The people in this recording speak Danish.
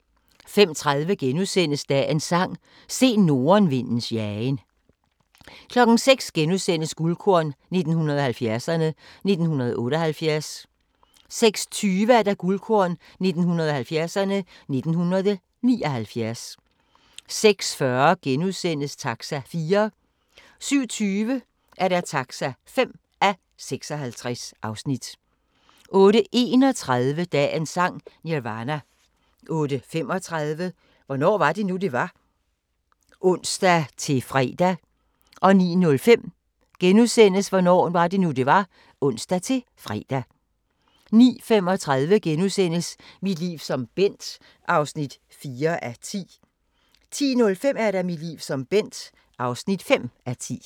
05:30: Dagens Sang: Se nordenvindens jagen * 06:00: Guldkorn 1970'erne: 1978 * 06:20: Guldkorn 1970'erne: 1979 06:40: Taxa (4:56)* 07:20: Taxa (5:56) 08:31: Dagens Sang: Nirvana 08:35: Hvornår var det nu, det var? *(ons-fre) 09:05: Hvornår var det nu, det var? *(ons-fre) 09:35: Mit liv som Bent (4:10)* 10:05: Mit liv som Bent (5:10)